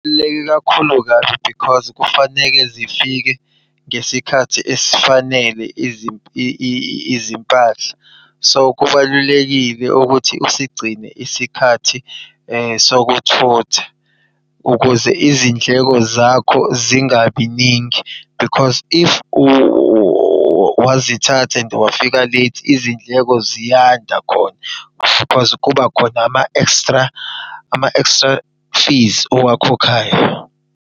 Kubaluleke kakhulu kabi because kufaneke zifike ngesikhathi esifanele izimpahla. So kubalulekile ukuthi usigcine isikhathi sokuthutha ukuze izindleko zakho zingabi ningi, because if wazithatha and wafika late, izindleko ziyanda khona. kuba khona ama ekstra, ama ekstra fees owakhokhayo.